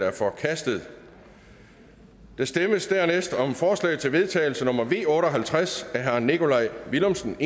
er forkastet der stemmes dernæst om forslag til vedtagelse nummer v otte og halvtreds af nikolaj villumsen